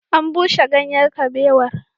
An bushe ganyen kabewar